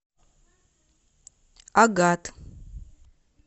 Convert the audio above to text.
агат